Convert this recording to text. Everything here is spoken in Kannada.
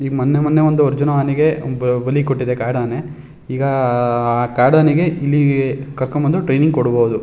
ಮೊನ್ನೆ ಮೊನ್ನೆ ಒಂದ್ ಅರ್ಜುನ ಆನೆಗೆ ಬಲಿ ಕೊಟ್ಟಿದೆ ಒಂದು ಕಾಡಾನೆ ಈಗ ಆ ಕಾಡಾನೆಗೆ ಕರ್ಕೊಂಡ್ ಬಂದು ಟ್ರೇನಿಂಗ ಕೊಡಬೋದು.